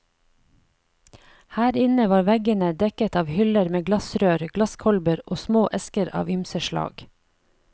Her inne var veggenedekket av hyller med glassrør, glasskolber og små esker av ymse slag.